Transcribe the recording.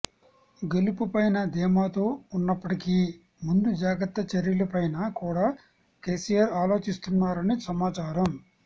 గెలుపుపైన ధీమాతో ఉన్నప్పటికి ముందు జాగ్రత్త చర్యలపైన కూడా కేసీఆర్ ఆలోచిస్తున్నారని సమాచారం